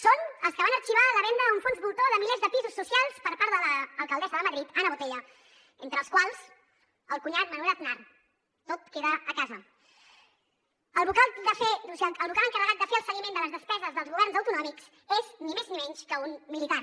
són els que van arxivar la venda a un fons voltor de milers de pisos socials per part de l’alcaldessa de madrid ana botella entre els quals el cunyat manuel aznar tot queda a casa el vocal encarregat de fer el seguiment de les despeses dels governs autonòmics és ni més ni menys que un militar